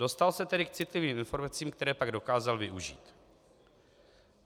Dostal se tedy k citlivým informacím, které pak dokázal využít.